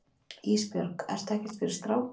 Ísbjörg, ertu ekkert fyrir stráka?